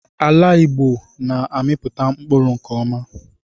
Ala Igbo na-amipụta mkpụrụ nke ọma